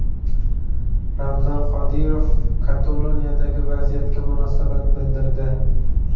Ramzan Qodirov Kataloniyadagi vaziyatga munosabat bildirdi.